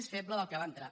més feble del que va entrar